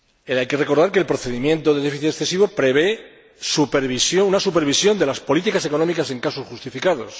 Hay que recordar que el procedimiento de déficit excesivo prevé una supervisión de las políticas económicas en casos justificados.